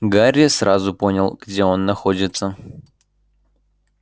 гарри сразу понял где он находится